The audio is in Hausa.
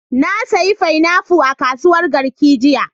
Na sayi fainafu a kasuwar Garki jiya.